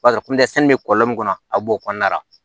bɛ kɔlɔlɔ min kɔnɔ a b'o kɔnɔna la